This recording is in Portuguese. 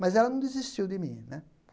Mas ela não desistiu de mim né.